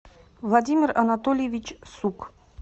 владимир анатольевич сук